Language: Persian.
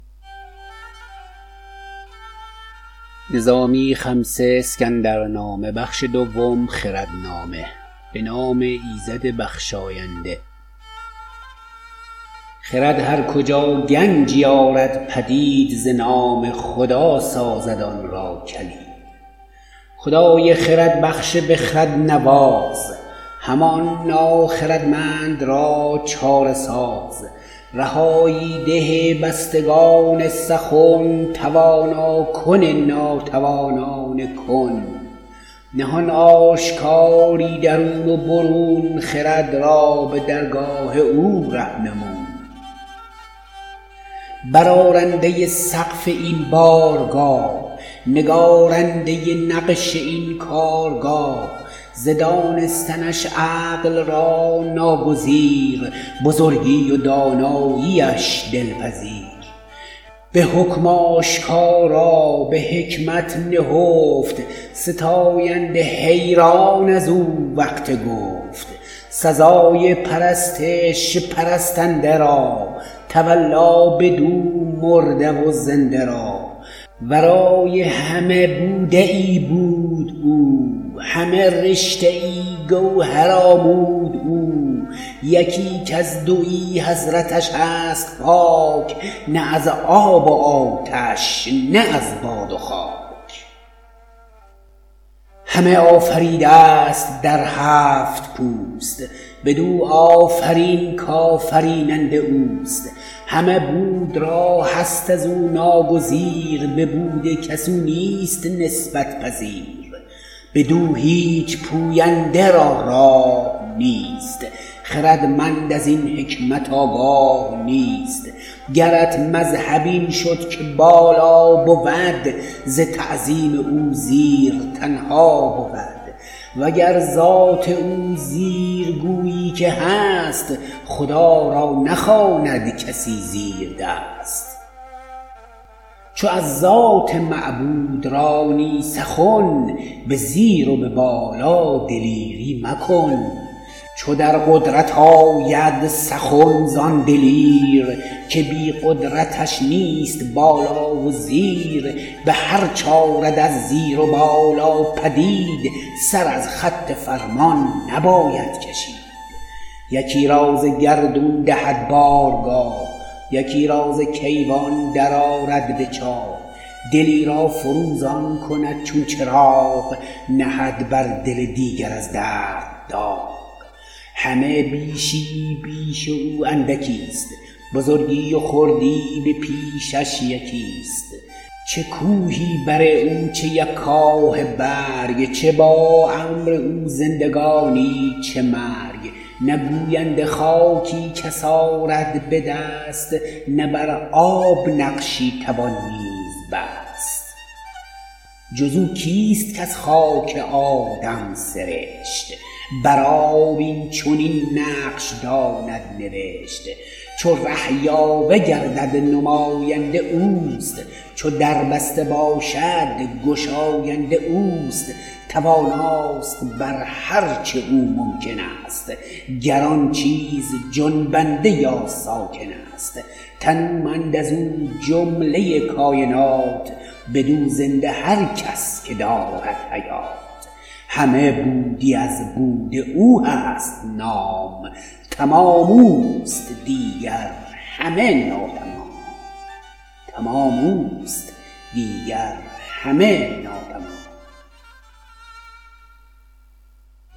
خرد هر کجا گنجی آرد پدید ز نام خدا سازد آنرا کلید خدای خرد بخش بخرد نواز همان ناخردمند را چاره ساز رهایی ده بستگان سخن توانا کن ناتوانان کن نهان آشکارای درون و برون خرد را به درگاه او رهنمون برارنده سقف این بارگاه نگارنده نقش این کارگاه ز دانستنش عقل را ناگزیر بزرگی و دانایی اش دلپذیر به حکم آشکارا به حکمت نهفت ستاینده حیران ازو وقت گفت سزای پرستش پرستنده را تولا بدو مرده و زنده را ورای همه بوده ای بود او همه رشته ای گوهر آمود او یکی کز دویی حضرتش هست پاک نه از آب و آتش نه از باد و خاک همه آفریده ست در هفت پوست بدو آفرین ک آفریننده اوست همه بود را هست ازو ناگزیر به بود کس او نیست نسبت پذیر بدو هیچ پوینده را راه نیست خردمند ازین حکمت آگاه نیست گرت مذهب این شد که بالا بود ز تعظیم او زیر تنها بود وگر ذات او زیر گویی که هست خدا را نخواند کسی زیردست چو از ذات معبود رانی سخن به زیر و به بالا دلیری مکن چو در قدرت آید سخن زان دلیر که بی قدرتش نیست بالا و زیر به هرچ آرد از زیر و بالا پدید سر از خط فرمان نباید کشید یکی را ز گردون دهد بارگاه یکی را ز کیوان درآرد به چاه دلی را فروزان کند چون چراغ نهد بر دل دیگر از درد داغ همه بیشی یی پیش او اندکی ست بزرگی و خردی به پیشش یکی ست چه کوهی بر او چه یک کاه برگ چه با امر او زندگانی چه مرگ نه گوینده خاکی کس آرد به دست نه بر آب نقشی توان نیز بست جز او کیست که از خاک آدم سرشت بر آب اینچنین نقش داند نوشت چو ره یاوه گردد نماینده اوست چو در بسته باشد گشاینده اوست تواناست بر هر چه او ممکن است گر آن چیز جنبنده یا ساکن است تنومند ازو جمله کاینات بدو زنده هر کس که دارد حیات همه بودی از بود او هست نام تمام اوست دیگر همه ناتمام